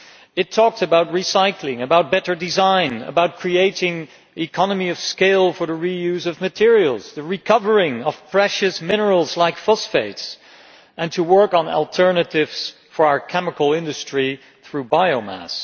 It talked about recycling, about better design, about creating economies of scale for the reuse of materials, the recovery of precious minerals like phosphates, and working on alternatives for our chemical industry through biomass.